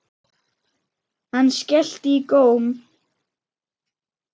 Hann skellti í góm.